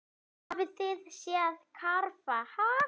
Hafið þið séð karfa, ha?